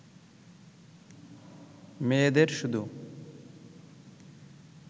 মেয়েদের শুধু